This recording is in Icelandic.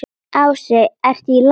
Ási: ERTU Í LAGI?